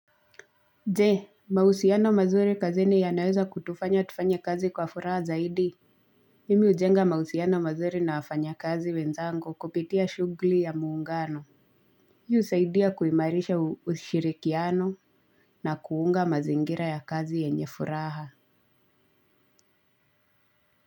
Je mahusiano mazuri kazini yanaweza kutufanya tufanye kazi kwa furaha zaidi. Mimi hujenga mausiano mazuri na wafanyakazi wenzangu kupitia shughuli ya muungano. Hii husaidia kuimarisha ushirikiano na kuunga mazingira ya kazi yenye furaha.